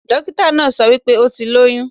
Dókítà náà so wípé o ti lóyún